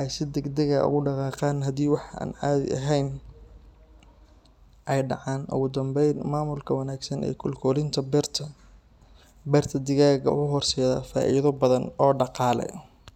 ay si degdeg ah ugu dhaqaaqaan haddii wax aan caadi ahayn ay dhacaan. Ugu dambayn, maamulka wanaagsan ee kolkolinta beerta digaagga wuxuu horseedaa faa’iido badan oo dhaqaale.